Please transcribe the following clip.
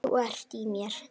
Þú ert í mér.